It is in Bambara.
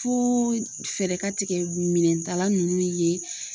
Fo fɛɛrɛ ka tigɛ minɛntala ninnu ye